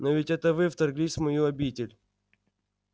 но ведь это вы вторглись в мою обитель